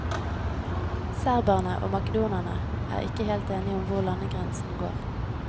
Serberne og makedonerne er ikke helt enige om hvor landegrensen går.